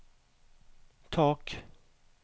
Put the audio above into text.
tak